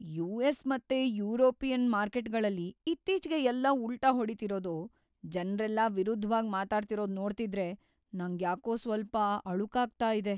US. ಮತ್ತೆ ಯುರೋಪಿನ್ ಮಾರ್ಕೆಟ್ಗಳಲ್ಲಿ ಇತ್ತೀಚ್ಗೆ ಎಲ್ಲಾ ಉಲ್ಟಾ ಹೊಡಿತಿರೋದು, ಜನ್ರೆಲ್ಲ ವಿರುದ್ಧ್‌ವಾಗ್‌ ಮಾತಾಡ್ತಿರೋದ್ ನೋಡ್ತಿದ್ರೆ ನಂಗ್ಯಾಕೋ ಸ್ವಲ್ಪ ಅಳುಕಾಗ್ತಾ ಇದೆ.